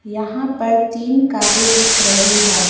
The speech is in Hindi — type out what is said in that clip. यहां पर तीन कारे दिख रही है।